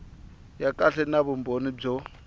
ya kahle na vumbhoni byo